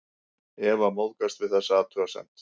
Eva móðgast við þessa athugasemd.